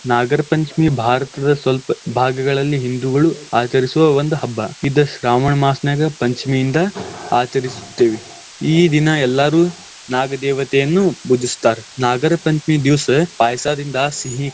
ನಾಗರ ಪಂಚಮಿ ಭಾರತದ್ ಸ್ವಲ್ಪ ಭಾಗಗಳಲ್ಲಿ ಹಿಂದೂಗಳು ಆಚರಿಸುವ ಒಂದು ಹಬ್ಬಾ. ಇದ್ ಶ್ರಾವಣ್ ಮಾಸನಾಗ ಪಂಚಮಿಯಿಂದ ಆಚರಿಸುತ್ತೇವಿ, ಈ ದಿನ ಎಲ್ಲಾರು ನಾಗ ದೇವತೆಯನ್ನು ಪೂಜಿಸ್ತಾರ್ ನಾಗರ ಪಂಚಮಿ ದಿವಸ ಪಾಯಸಾದಿಂದಾ ಸಿಹಿ.